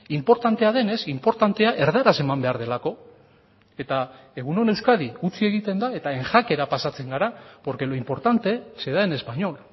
inportantea denez inportantea erdaraz eman behar delako eta egun on euskadi utzi egiten da eta en jakera pasatzen gara porque lo importante se da en español